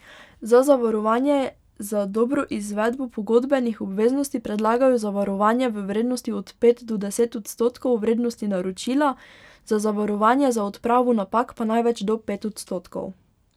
Za zavarovanje za dobro izvedbo pogodbenih obveznosti predlagajo zavarovanje v vrednosti od pet do deset odstotkov vrednosti naročila, za zavarovanje za odpravo napak pa največ do pet odstotkov.